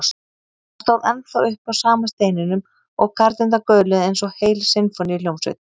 Hann stóð ennþá uppi á sama steininum og garnirnar gauluðu eins og heil sinfóníuhljómsveit.